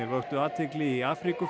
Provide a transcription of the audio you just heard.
vöktu athygli í